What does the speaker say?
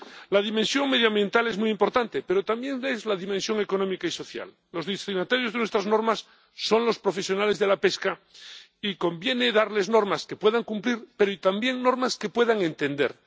La dimensión medioambiental es muy importante, pero también lo es la dimensión económica y social. Los destinatarios de nuestras normas son los profesionales de la pesca y conviene darles normas que puedan cumplir, pero también normas que puedan entender.